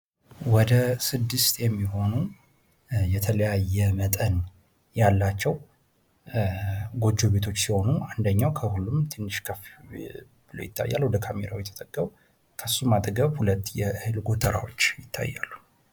ወደ 6 የሚሆኑ የተለያየ መጠን ያላቸው ጎጆ ቤቶች ሲሆኑ አንደኛው ከሁሉም ትንሽ ከፍ ብሎ ይታያሉ ወደ ካሜራው የተጠጋው ከሱም አጠገብ የእህል ጎተሮች ይታያሉ።